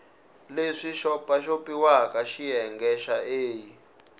leswi xopaxopiwaka xiyenge xa a